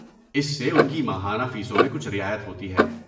اس سے ان کی ماہانہ فیسوں میں کچھ رعایت ہوتی ہے۔